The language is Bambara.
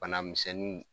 Bana misɛnninw